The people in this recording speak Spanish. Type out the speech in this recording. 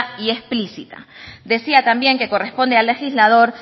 y explícita decía también que corresponde al legislador